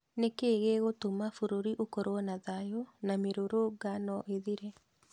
Nĩkĩĩ gĩgũtũma bũrũri ũkorwo na thayũ na mĩrũrũnga no ĩthire?